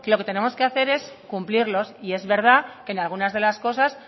que lo que tenemos que hacer es cumplirlos y es verdad que en algunas de las cosas